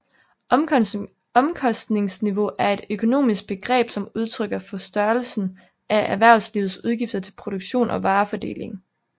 Omkostningsniveau er et økonomisk begreb som udtrykker for størrelsen af erhvervslivets udgifter til produktion og varefordeling